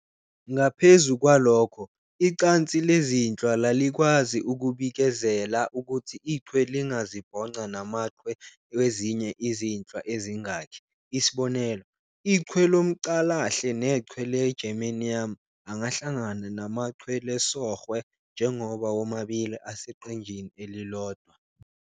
Ngaphezu kwalokho, icansi lezinhlwa lalikwazi ukubikezela ukuthi ichwe lingazibhonqa namachwe wezinye izinhlwa ezingaki - isb., ichwe lomCalahle nechwe le "germanium" angahlangana namachwe lesOrhwe njengoba womabili aseqenjini elilodwa.